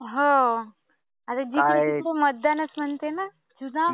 आता जिथे तिथे मतदानच म्हणते ना. चुनाव.